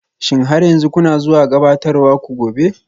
Shin har yanzu kuna zuwa gabatarwar ku gobe?